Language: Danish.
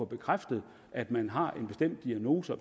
bekræftet at man har en bestemt diagnose